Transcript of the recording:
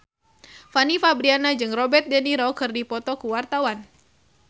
Fanny Fabriana jeung Robert de Niro keur dipoto ku wartawan